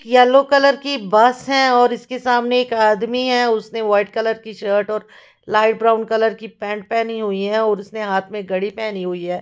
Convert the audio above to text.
Yellow colour की bus है और इसके सामने एक आदमी है उसने वाइट कलर शर्ट और लाइट ब्राउन कलर की पेंट पहनी हुई है और उसने हाथ में घड़ी पहनी हुई है।